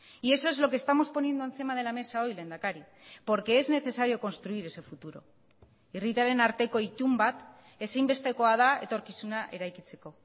y eso es lo que estamos poniendo encima de la mesa hoy lehendakari porque es necesario construir ese futuro herritarren arteko itun bat ezinbestekoa da etorkizuna eraikitzeko